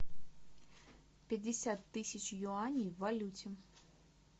пятьдесят тысяч юаней в валюте